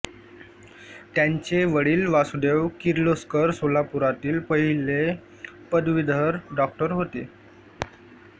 त्यांचे वडील वासुदेव किर्लोस्कर सोलापुरातील पहिले पदवीधर डॉक्टर होते